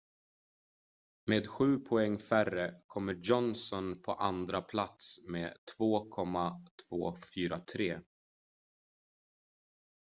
med sju poäng färre kommer johnson på andra plats med 2,243